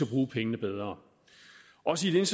bruge pengene bedre også i et